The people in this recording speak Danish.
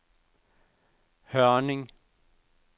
Hørning